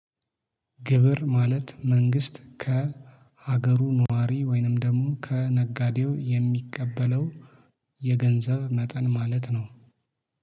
ግብር ማለት መንግስት ከሀገሩ ነዋሪ ወይንም ደግሞ ከነጋዴው የሚቀበለው የገንዘብ መጠን ማለት ነው።